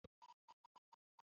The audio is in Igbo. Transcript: I chọrọ iso anyi gba boolu echi?